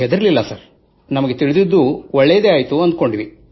ನಾವು ಹೆದರಲಿಲ್ಲ ಸರ್ ನಮಗೆ ತಿಳಿದಿದ್ದು ಒಳ್ಳೆಯದೇ ಆಯಿತು ಎಂದೆವು